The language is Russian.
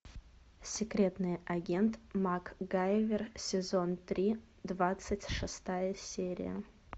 секретный агент макгайвер сезон три двадцать шестая серия